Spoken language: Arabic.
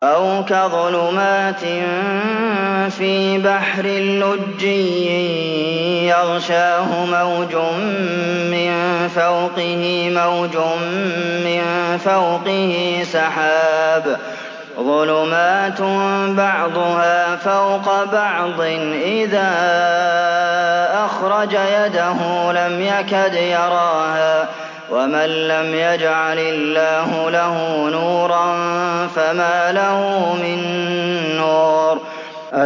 أَوْ كَظُلُمَاتٍ فِي بَحْرٍ لُّجِّيٍّ يَغْشَاهُ مَوْجٌ مِّن فَوْقِهِ مَوْجٌ مِّن فَوْقِهِ سَحَابٌ ۚ ظُلُمَاتٌ بَعْضُهَا فَوْقَ بَعْضٍ إِذَا أَخْرَجَ يَدَهُ لَمْ يَكَدْ يَرَاهَا ۗ وَمَن لَّمْ يَجْعَلِ اللَّهُ لَهُ نُورًا فَمَا لَهُ مِن نُّورٍ